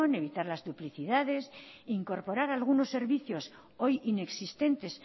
evitar las duplicidades e incorporar algunos servicios hoy inexistentes